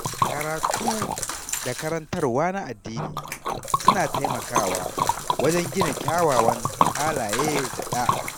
Karatu da karantarwa na addini suna taimakawa wajen gina kyawawan halaye da ɗa’a.